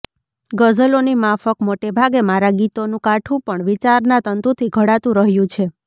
ગઝલોની માફક મોટેભાગે મારાં ગીતોનું કાઠું પણ વિચારના તંતુથી ઘડાતું રહ્યું છે